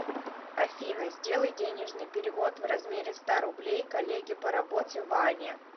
афина сделай денежный перевод в размере ста рублей коллеге по работе ване